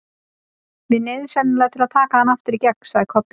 Við neyðumst sennilega til að taka hann aftur í gegn, sagði Kobbi.